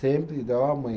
Sempre dava ó mãe.